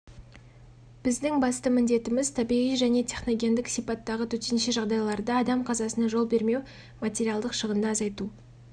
біздің басты міндетіміз табиғи және техногендік сипаттағы төтенше жағдайларда адам қазасына жол бермеу материалдық шығынды азайту